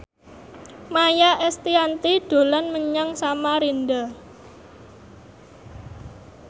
Maia Estianty dolan menyang Samarinda